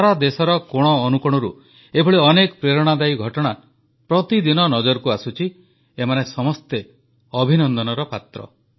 ସାରା ଦେଶର କୋଣ ଅନୁକୋଣରୁ ଏଭଳି ଅନେକ ପ୍ରେରଣାଦାୟୀ ଘଟଣା ପ୍ରତିଦିନ ନଜରକୁ ଆସୁଛି ଏମାନେ ସମସ୍ତେ ଅଭିନନ୍ଦନର ପାତ୍ର